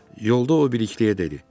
Yolda o Bilikliyə dedi: